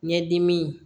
Ɲɛdimi